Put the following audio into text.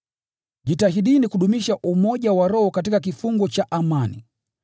Jitahidini kudumisha umoja wa Roho katika kifungo cha amani.